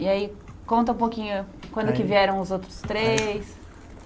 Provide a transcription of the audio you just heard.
E aí conta um pouquinho quando que vieram os outros três?